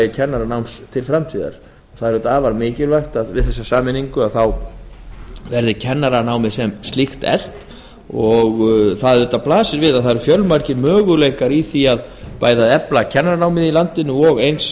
kennaranáms til framtíðar það er afar mikilvægt að við þessa sameiningu verði kennaranámið sem slíkt eflt það blasir við að fjölmargir möguleikar eru til þess að efla kennaranámið og eins